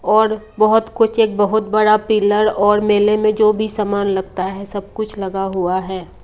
और बहोत कुछ एक बहोत बड़ा पिलर और मेले में जो भी सामान लगता है सब कुछ लगा हुआ है।